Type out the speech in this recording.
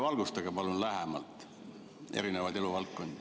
Valgustage palun natuke lähemalt erinevaid eluvaldkondi.